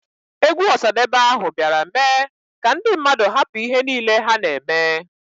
Egwu Osadebe ahụ biara mee ka ndi mmadụ hapụ ihe nile ha na emee.